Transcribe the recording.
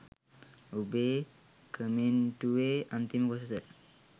ඔබේ කමෙන්ටුවෙ අන්තිම කොටස